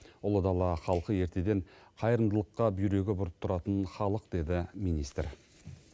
ұлы дала халқы ертеден қайырымдылыққа бүйрегі бұрып тұратын халық деді министр